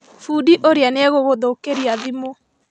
Bundi ũrĩa nĩegũgũthũkĩria thimũ